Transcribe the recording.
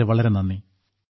വളരെ വളരെ നന്ദി